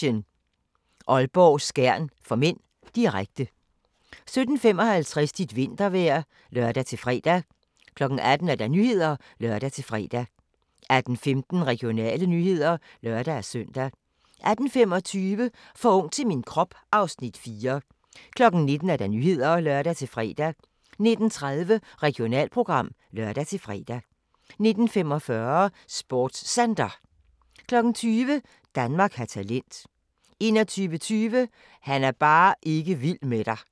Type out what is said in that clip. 16:50: SuperMatchen: Aalborg-Skjern (m), direkte 17:55: Dit vintervejr (lør-fre) 18:00: Nyhederne (lør-fre) 18:15: Regionale nyheder (lør-søn) 18:25: For ung til min krop (Afs. 4) 19:00: Nyhederne (lør-fre) 19:30: Regionalprogram (lør-fre) 19:45: SportsCenter 20:00: Danmark har talent 21:20: Han er bare ikke vild med dig